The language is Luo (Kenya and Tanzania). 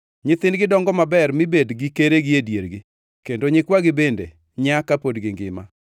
Nyithindgi dongo maber mi bed gi keregi e diergi kendo nyikwagi bende nyaa ka pod gingima.